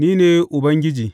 Ni ne Ubangiji.